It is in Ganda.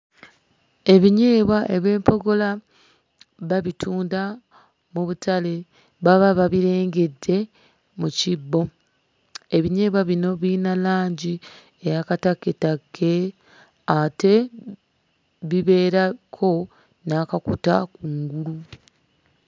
Ebinyeebwa eby'empogola babitunda mu butale. Baba babirengedde mu kibbo. Ebinyeebwa bino biyina langi eya katakketakke ate bibeerako n'akakuta ku ngulu.